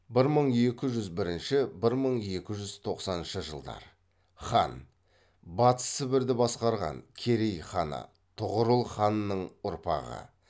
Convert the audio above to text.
хан батыс сібірді басқарған керей ханы тұғырыл ханның ұрпағы